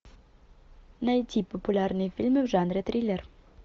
найти популярные фильмы в жанре триллер